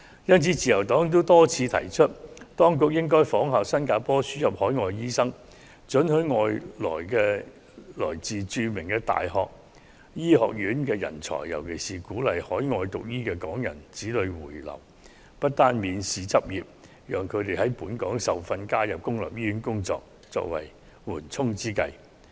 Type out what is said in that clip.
因此，自由黨多次提出，當局應該仿效新加坡輸入海外醫生，准許來自國外著名大學醫學院的人才來港執業，尤其是鼓勵在海外進修醫科的港人子女回流，不單容許他們免試執業，並讓他們在本港受訓，加入公立醫院工作，作為緩衝之計。